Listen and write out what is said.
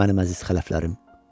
Mənim əziz xələflərim.